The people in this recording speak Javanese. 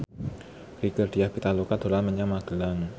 Rieke Diah Pitaloka dolan menyang Magelang